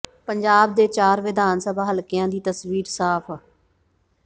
ਪੰਜਾਬ ਦੇ ਚਾਰ ਵਿਧਾਨ ਸਭਾ ਹਲਕਿਆਂ ਦੀ ਤਸਵੀਰ ਸਾਫ